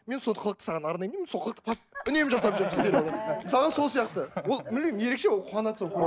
мен сол қылықты саған арнаймын деймін сол қылықты үнемі жасап жүремін сериалда мысалы сол сияқты ол білмеймін ерекше ол қуанады